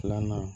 Filanan